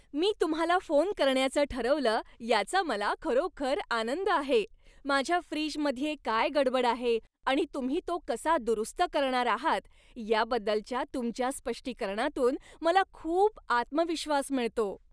मी तुम्हाला फोन करण्याचं ठरवलं याचा मला खरोखर आनंद आहे, माझ्या फ्रीजमध्ये काय गडबड आहे आणि तुम्ही तो कसा दुरुस्त करणार आहात याबद्दलच्या तुमच्या स्पष्टीकरणातून मला खूप आत्मविश्वास मिळतो.